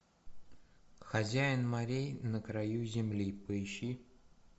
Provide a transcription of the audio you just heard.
хозяин морей на краю земли поищи